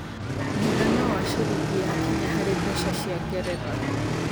mũigana wa cĩrĩngĩ ya Kenya harĩ mbeca cĩa ngeretha